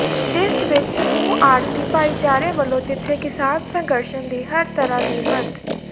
ਜਿਸ ਵਿੱਚ ਸਮੂਹ ਆੜ੍ਹਤੀ ਭਾਈਚਾਰੇ ਵਲੋਂ ਜਿੱਥੇ ਕਿਸਾਨ ਸ਼ੰਘਰਸ ਦੀ ਹਰ ਤਰਾਂ ਦੀ ਮਦ